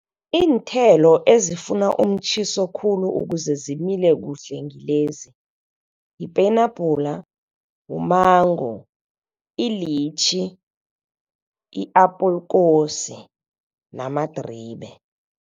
Iinthelo ezifuna umtjhiso khulu ukuze zimile kuhle ngilezi yipenabhula, wumango, ilitjhi, i-apulkosi namadribe.